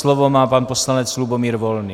Slovo má pan poslanec Lubomír Volný.